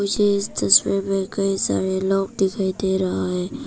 मुझे इस तस्वीर में कई सारे लोग दिखाई दे रहा है।